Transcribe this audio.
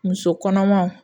Muso kɔnɔmaw